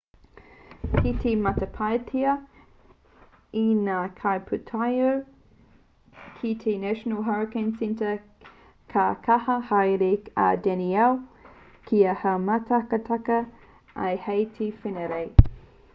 kei te matapaetia e ngā kaipūtaiao ki te national hurricane centre ka kaha haere a danielle kia haumātakataka ai hei te wenerei